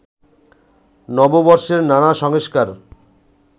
নববর্ষের নানা সংস্কার